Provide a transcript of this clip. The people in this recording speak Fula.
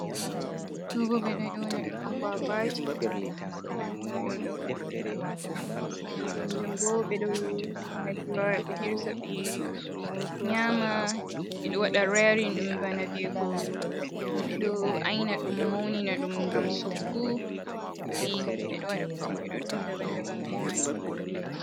Ɗo bo ɓe ɗo yona ɗum aguagwaji, on yi ɗum ɗo, kanjum bo ɓeɗo like ɓe wara ɓe hirsa ɓe nyama, ɓeɗo waɗa rearing ɗum bana viwugo ɗum ɓeɗo aina ɗum, maunina ɗum, ngam soggu, ayi ɓeɗo waɗa kujeji ɗuɗɗum daban daban be majum.